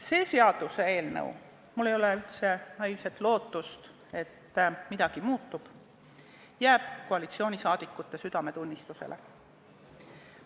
See seaduseelnõu – mul ei ole mingit naiivset lootust, et midagi muutub – jääb koalitsioonisaadikute südametunnistusele.